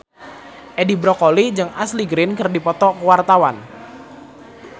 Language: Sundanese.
Edi Brokoli jeung Ashley Greene keur dipoto ku wartawan